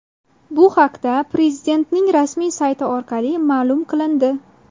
Bu haqda Prezidentning rasmiy sayti orqali ma’lum qilindi.